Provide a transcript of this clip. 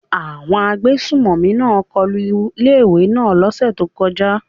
Àwọn agbésùmọ̀mí náà kọlu ilé ìwé náà lọ́ sẹ̀ tó kọjá.